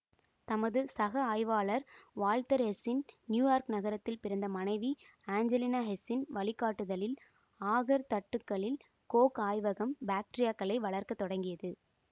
தமது சக ஆய்வாளர் வால்த்தர் ஹெஸ்ஸின் நியூயார்க் நகரத்தில் பிறந்த மனைவி ஆஞ்செலினா ஹெஸ்ஸின் வழிகாட்டுதலில் அகார் தட்டுக்களில் கோக் ஆய்வகம் பாக்டீரியாக்களை வளர்க்க தொடங்கியது